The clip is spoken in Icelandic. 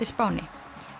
Spáni